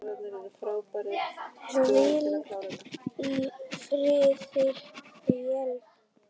Hvíldu í friði félagi.